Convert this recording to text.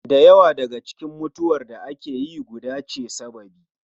Da yawa daga cikin mutuwar da ake yi guba ce sababi